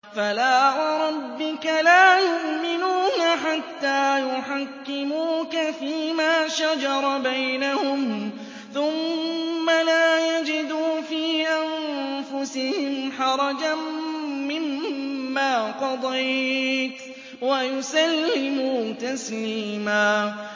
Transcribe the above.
فَلَا وَرَبِّكَ لَا يُؤْمِنُونَ حَتَّىٰ يُحَكِّمُوكَ فِيمَا شَجَرَ بَيْنَهُمْ ثُمَّ لَا يَجِدُوا فِي أَنفُسِهِمْ حَرَجًا مِّمَّا قَضَيْتَ وَيُسَلِّمُوا تَسْلِيمًا